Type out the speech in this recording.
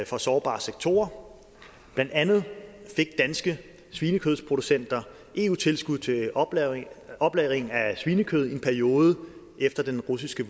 for sårbare sektorer blandt andet fik danske svinekødsproducenter eu tilskud til oplagring oplagring af svinekød i en periode efter den russiske